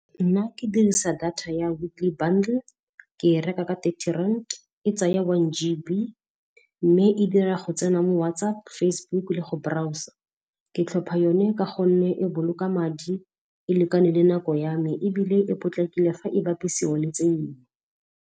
Nna ke dirisa data ya Weekly Bundle, ke reka ka thirty rand, e tsaya one G_B, mme e dira go tsena mo WhatsApp, Facebook le go browser. Ke tlhopha yone ka gonne e boloka madi, e lekane le nako ya me, ebile e potlakile fa e bapisiwa le .